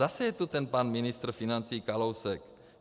Zase je to ten pan ministr financí Kalousek.